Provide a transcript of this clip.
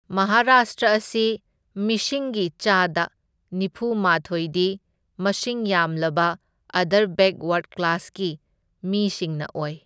ꯃꯍꯥꯔꯥꯁꯇ꯭ꯔ ꯑꯁꯤ ꯃꯤꯁꯤꯡꯒꯤ ꯆꯥꯗ ꯅꯤꯐꯨꯃꯥꯊꯣꯢꯗꯤ ꯃꯁꯤꯡ ꯌꯥꯝꯂꯕ ꯑꯥꯗꯔ ꯕꯦꯛꯋꯥꯔꯗ ꯀ꯭ꯂꯥꯁꯀꯤ ꯃꯤꯁꯤꯡꯅ ꯑꯣꯏ꯫